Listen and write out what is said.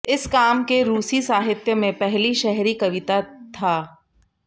इस काम के रूसी साहित्य में पहली शहरी कविता था